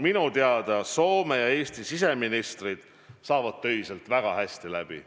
Minu teada Soome ja Eesti siseminister saavad töiselt väga hästi läbi.